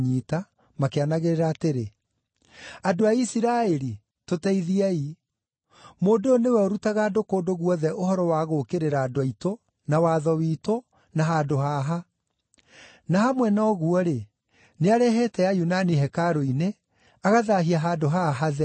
makĩanagĩrĩra atĩrĩ, “Andũ a Isiraeli, tũteithiei! Mũndũ ũyũ nĩ we ũrutaga andũ kũndũ guothe ũhoro wa gũũkĩrĩra andũ aitũ, na watho witũ, na handũ haha. Na hamwe na ũguo-rĩ, nĩarehete Ayunani hekarũ-inĩ, agathaahia handũ haha hatheru.”